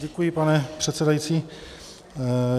Děkuji, pane předsedající.